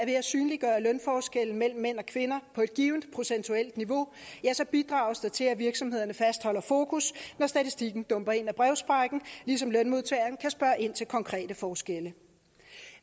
ved at synliggøre lønforskelle mellem mænd og kvinder på et givent procentuelt niveau bidrages til at virksomhederne fastholder fokus når statistikken dumper ind af brevsprækken ligesom lønmodtageren kan spørge ind til konkrete forskelle